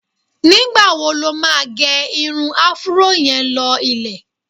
Nígbà wo lo máa gé irun afuró yẹn lọ ilẹ̀?